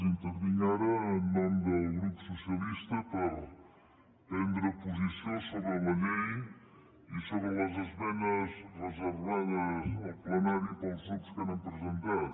intervinc ara en nom del grup socialistes per prendre posició sobre la llei i sobre les esmenes reservades al plenari pels grups que n’han presentat